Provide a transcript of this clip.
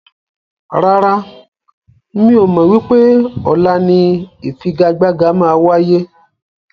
Rárá, mi ò mọ wípé ọ̀la ni ifigagbaga máa wáyé.